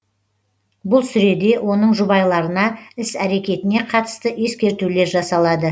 бұл сүреде оның жұбайларына іс әрекетіне қатысты ескертулер жасалады